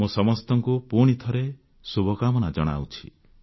ମୁଁ ସମସ୍ତଙ୍କୁ ପୁଣିଥରେ ଶୁଭକାମନା ଜଣାଉଛି